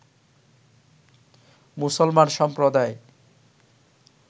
মুসলমান সম্প্রদায়